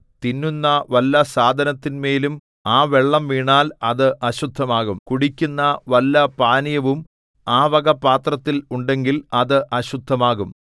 തിന്നുന്ന വല്ല സാധനത്തിന്മേലും ആ വെള്ളം വീണാൽ അത് അശുദ്ധമാകും കുടിക്കുന്ന വല്ല പാനീയവും ആ വക പാത്രത്തിൽ ഉണ്ടെങ്കിൽ അത് അശുദ്ധമാകും